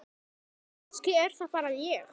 Kannski er það bara ég?